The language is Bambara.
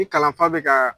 I kalan fa bɛ ka